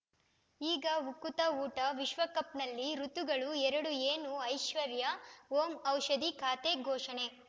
ಈಗ ಉಕುತ ಊಟ ವಿಶ್ವಕಪ್‌ನಲ್ಲಿ ಋತುಗಳು ಎರಡು ಏನು ಐಶ್ವರ್ಯಾ ಓಂ ಔಷಧಿ ಖಾತೆ ಘೋಷಣೆ